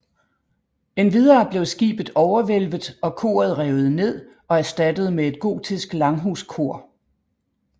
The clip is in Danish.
Endvidere blev skibet overhvælvet og koret revet ned og erstattet med et gotisk langhuskor